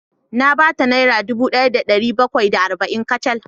Na ba ta naira dubu daya da dari bakwai da arba’in kacal